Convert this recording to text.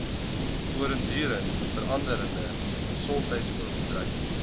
voortdurend veranderende gesondheidsorgbedryf